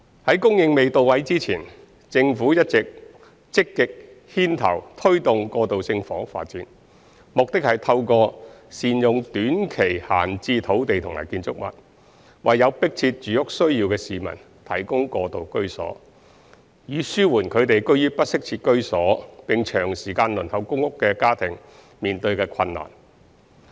在供應未到位之前，政府一直積極牽頭推動過渡性房屋發展，目的是透過善用短期閒置土地及建築物，為有迫切住屋需要的市民提供過渡居所，以紓緩居於不適切住屋並長時間輪候公屋的家庭面對的困難。